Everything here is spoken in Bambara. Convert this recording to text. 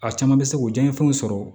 A caman bɛ se k'o diyan fɛnw sɔrɔ